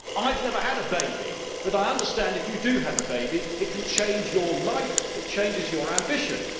I have never had a baby, but I understand that if you do have a baby it can change your life and it changes your ambitions.